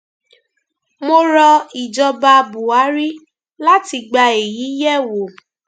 mo rọ ìjọba buhari láti gba èyí yẹwò